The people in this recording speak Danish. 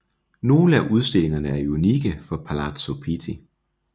Nogle af udstillingerne er unikke for Palazzo Pitti